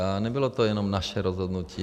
A nebylo to jenom naše rozhodnutí.